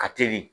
Ka teli